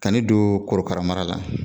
Ka ne don korokara mara la,